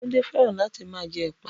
Tunde feran lati ma je epa